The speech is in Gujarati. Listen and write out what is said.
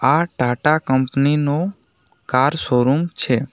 આ ટાટા કંપની નું કાર શોરુમ છે.